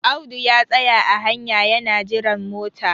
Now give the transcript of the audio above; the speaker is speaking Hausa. Audu ya tsaya a hanya yana jiran mota